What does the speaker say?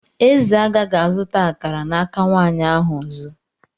Eze agaghị azụta akara n'aka nwanyị ahụ ọzọ.